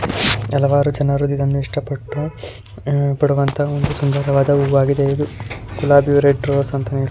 ಹಲವಾರು ಜನರು ಇದನ್ನ ಇಷ್ಟಪಟ್ಟು ಪಡುವಂತ ಒಂದು ಸುಂದರವಾದ ಹೂವು ಆಗಿದೆ ಇದು ಗುಲಾಬಿ ರೆಡ್ ರೋಸ್. ಅಂತನೇ--